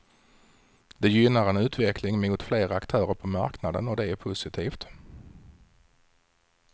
Det gynnar en utveckling mot fler aktörer på marknaden, och det är positivt.